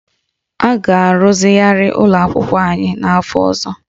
A ga-arụzigharị ụlọ akwụkwọ anyị n'afọ ọzọ